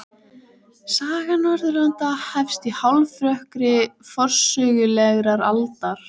Saga Norðurlanda hefst í hálfrökkri forsögulegrar aldar.